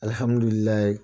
Alihamudulilayi